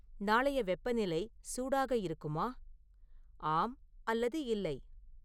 நாளைய வெப்பநிலை சூடாக இருக்குமா ஆம் அல்லது இல்லை